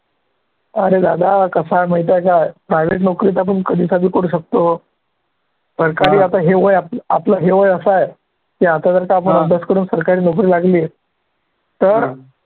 अरे दादा कसं आहे माहिती आहे का private नोकरी आपण कधी पण करू शकतो. सरकारी आता हे वय आप आपलं हे वय असं आहे, आता जर का आपण अभ्यास करून सरकारी नोकरी लागली, तर